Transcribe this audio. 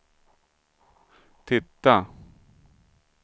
titta